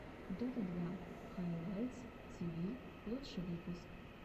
дота два хайлайтс тиви лучший выпуск